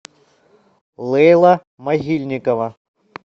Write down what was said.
лейла могильникова